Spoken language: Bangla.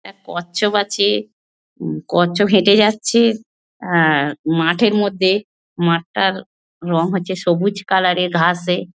এক কচ্ছপ আছে। কচ্ছপ হেঁটে যাচ্ছে অ্যাঁ মাঠের মধ্যে। মাঠটার রং হচ্ছে সবুজ কালার এর ঘাসে।